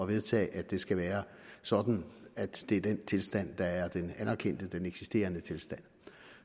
vedtage at det skal være sådan at det er den tilstand der er den anerkendte den eksisterende tilstand